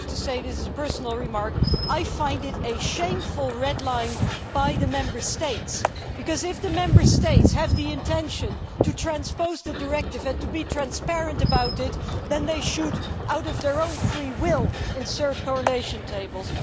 But I have to say this is a personal remark that I find this a shameful red line by the Member States because, if the Member States have the intention of transposing the directive and being transparent about it, they should of their own free will insert correlation tables.